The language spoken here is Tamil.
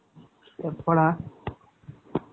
எப்போடா